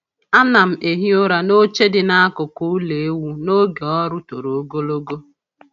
A na'm ehi ụra n’oche dị n’akụkụ ulọ ewu n’oge ọrụ toro ogologo.